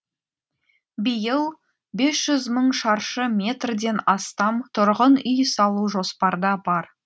биыл бес жүз мың шаршы метрден астам тұрғын үй салу жоспарда бар